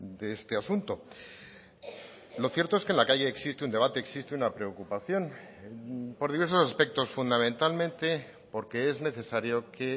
de este asunto lo cierto es que en la calle existe un debate existe una preocupación por diversos aspectos fundamentalmente porque es necesario que